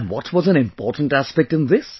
And what was an important aspect in this